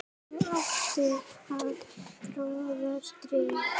og átti að troða strý